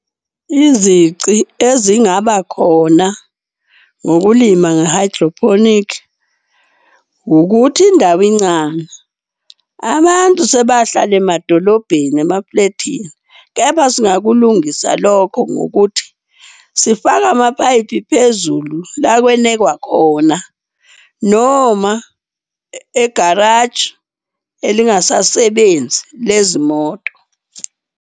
Izici ezingaba khona ngokulima nge-hydroponic ukuthi indawo incane, abantu sebahlala emadolobheni emaflethini. Kepha singakulungisa lokho ngokuthi sifake amapayipi phezulu la kwenekwa khona. Noma egaraji elingasasebenzi lezi moto.